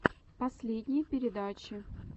последние передачи